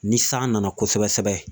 Ni san nana kosɛbɛ sɛbɛ